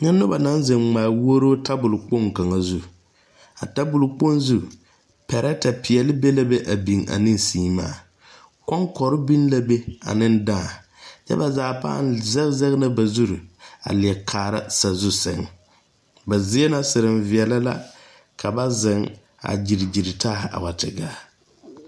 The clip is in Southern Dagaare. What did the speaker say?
Kyɛ noba naŋ zeŋ ŋmaa wuuro tabol kaŋa zu a tabolkpoŋ zu pɛrɛtɛ peɛle be la be a biŋ ne seemaa koŋkore biŋ la be a ne dãã kyɛ ka ba zaa zege la ba zuri a leɛ kaara sazu sɛŋ ba ziena sereŋ veɛla ka ba zeŋ a gyili taa a wa te gaa.